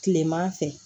Kileman fɛ